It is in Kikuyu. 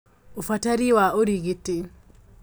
Ũbatari wa ũrigiti